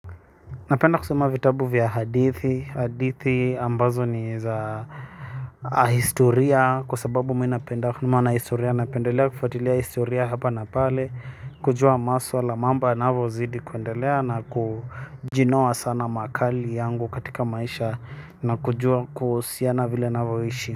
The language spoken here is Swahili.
Napenda kusoma vitabu vya hadithi, hadithi ambazo ni za historia kwa sababu mi napenda kufuatilia historia hapa na pale kujua maswala mambo yanavyo zidi kuendelea na kujinoa sana makali yangu katika maisha na kujua kuhusiana vile navo ishi.